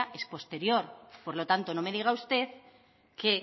es posterior por lo tanto no me diga usted que